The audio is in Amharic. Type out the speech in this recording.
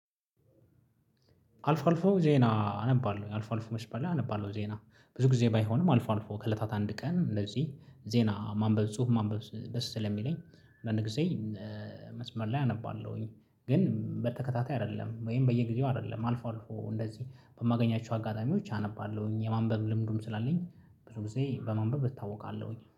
አልፎ አልፎ ዜና አነባለሁ አልፎ አልፎ መስመር ላይ አነባለሁ ዜና ብዙ ጊዜ ባይሆንም አልፎ አልፎ ከህለታት አንድ ቀን እንደዚህ ዜና ማንበብ ጽሁፍ ማንበብ ደስ ስለሚለኝ አንዳንድ ጊዜ መስመር ላይ አነባለሁኝ። ግን በተከታታይ አይደለም ወይም በየጊዜው አይደለም አልፎ አልፎ እንደዚህ በማገኛቸው አጋጣሚዎች አነባለሁኝ የማንበብ ልምዱም ስላለኝ ብዙ ጊዜ በማንበብ እታወቃለሁኝ